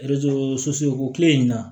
o tile in na